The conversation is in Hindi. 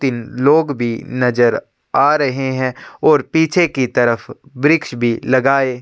तीन लोग भी नजर आ रहे है और पीछे की तरफ वृक्ष भी लगाये --